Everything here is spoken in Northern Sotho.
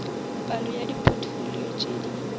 palo ya dipotfolio tše di